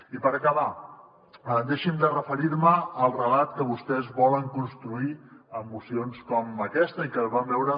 i per acabar deixin me referir me al relat que vostès volen construir amb mocions com aquesta i que vam veure